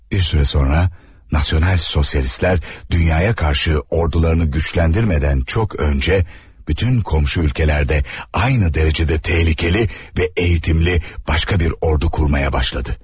Bir az sonra, Nasyonal Sosialistlər dünyaya qarşı ordularını gücləndirmədən çox öncə, bütün qonşu ölkələrdə eyni dərəcədə təhlükəli və eğitimli başqa bir ordu qurmaya başladı.